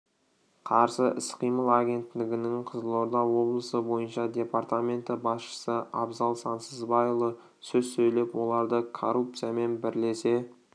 қарсы іс-қимыл агенттігінің қызылорда облысы бойынша департаменті басшысы абзал сансызбайұлы сөз сөйлеп оларды коррупциямен бірлесе